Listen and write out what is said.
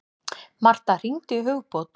Martha, hringdu í Hugbót.